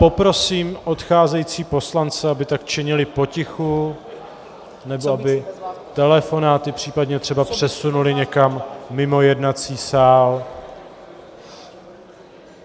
Poprosím odcházející poslance, aby tak činili potichu nebo aby telefonáty případně třeba přesunuli někam mimo jednací sál.